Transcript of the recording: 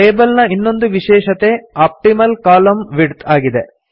table ನ ಇನ್ನೊಂದು ವಿಶೇಷತೆ ಆಪ್ಟಿಮಲ್ ಕಾಲಮ್ನ ವಿಡ್ತ್ ಆಗಿದೆ